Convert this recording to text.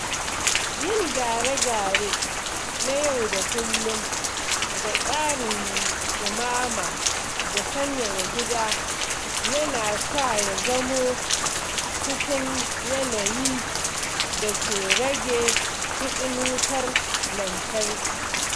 Yin gyare-gyare na yau da kullum ga tsarin ɗumama da sanyaya gida yana sa ya zamo cikin yanayin da ke rage kuɗin wutar lantarki.